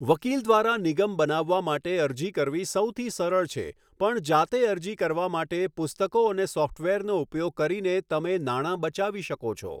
વકીલ દ્વારા નિગમ બનાવવા માટે અરજી કરવી સૌથી સરળ છે પણ જાતે અરજી કરવા માટે પુસ્તકો અને સોફ્ટવેરનો ઉપયોગ કરીને તમે નાણાં બચાવી શકો છો.